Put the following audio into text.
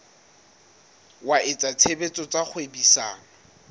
wa etsa tshebetso tsa kgwebisano